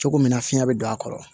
Cogo min na fiɲɛ bɛ don a kɔrɔ